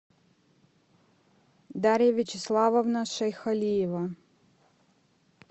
дарья вячеславовна шейхалиева